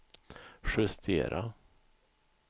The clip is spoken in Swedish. justera